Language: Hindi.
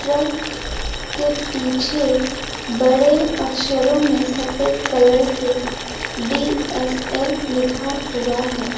ट्रक के पीछे बड़े अक्षरों में सफेद कलर से डी एस एल लिखा हुआ है।